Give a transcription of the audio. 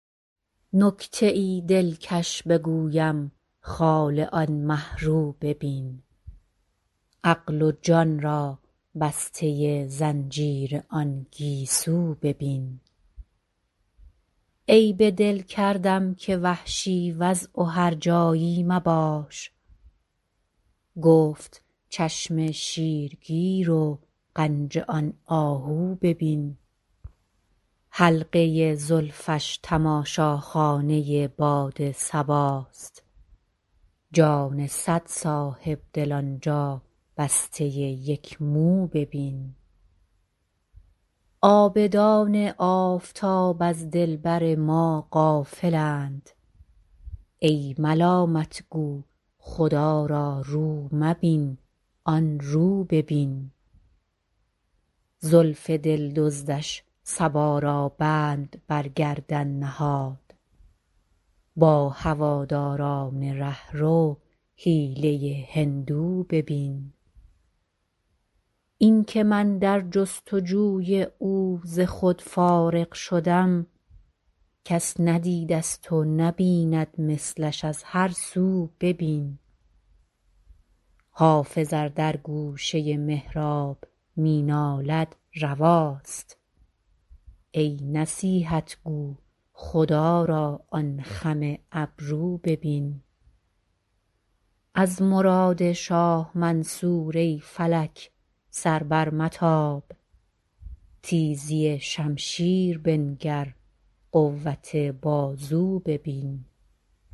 نکته ای دلکش بگویم خال آن مه رو ببین عقل و جان را بسته زنجیر آن گیسو ببین عیب دل کردم که وحشی وضع و هرجایی مباش گفت چشم شیرگیر و غنج آن آهو ببین حلقه زلفش تماشاخانه باد صباست جان صد صاحب دل آن جا بسته یک مو ببین عابدان آفتاب از دلبر ما غافل اند ای ملامت گو خدا را رو مبین آن رو ببین زلف دل دزدش صبا را بند بر گردن نهاد با هواداران ره رو حیله هندو ببین این که من در جست وجوی او ز خود فارغ شدم کس ندیده ست و نبیند مثلش از هر سو ببین حافظ ار در گوشه محراب می نالد رواست ای نصیحت گو خدا را آن خم ابرو ببین از مراد شاه منصور ای فلک سر برمتاب تیزی شمشیر بنگر قوت بازو ببین